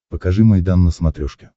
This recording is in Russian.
покажи майдан на смотрешке